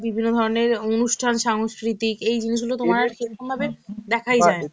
বিভিন্ন ধরনের অনুষ্ঠান সংস্কৃতিক, এই জিনিসগুলো তোমার সেরকমভাবে দেখাই যায় না.